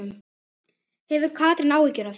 Hefur Katrín áhyggjur af því?